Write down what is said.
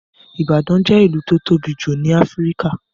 Ìbàdàn jẹ́ ìlú tó tóbi jù ní Áfíríkà